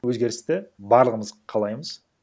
өзгерісті барлығымыз қалаймыз